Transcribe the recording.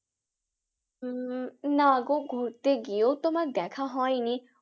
উম না গো ঘুরতে গিয়েও তো আমার দেখা হয়নি।